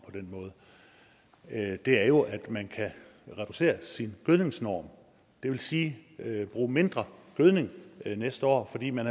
lave det er jo at man kan reducere sin gødningsnorm det vil sige bruge mindre gødning næste år fordi man